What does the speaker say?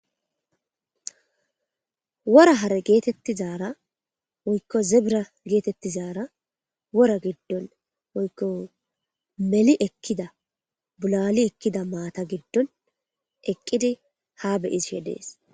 Wora hare geetettizaara woykko zebra geetettizaara wora giddon woykko meli ekkida bulali ekkida maata giddon eqqidi ha be'ishe dees.